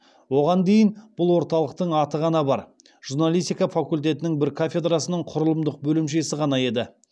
оған дейін бұл орталықтың аты ғана бар журналистика факультетінің бір кафедрасының құрылымдық бөлімшесі ғана еді